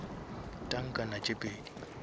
tankana tše pedi